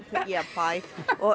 bæ